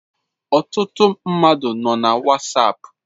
Ọtụtụ mmadụ nọ na whatsapp